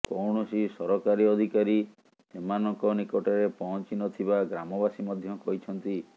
କୌଣସି ସରକାରୀ ଅଧିକାରୀ ସେମାନଙ୍କ ନିକଟରେ ପହଂଚି ନଥିବା ଗ୍ରାମବାସୀ ମଧ୍ୟ କହିଛନ୍ତି